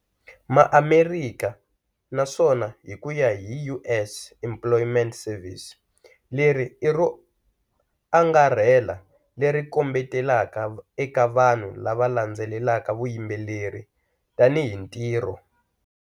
MaAmerika naswona hi ku ya hi US Employment Service, leri i ro angarhela leri kombetelaka eka vanhu lava landzelelaka vuyimbeleri tanihi ntirho.